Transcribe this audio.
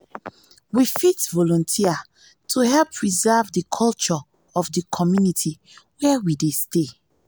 we fit volunteers to help preserve di culture of di community wey we dey stay